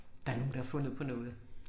Der nogen der har fundet på noget